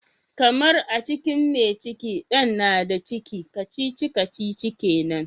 Karmar, a cikin mai cikin Dan na da ciki, kacici-kacici kenan.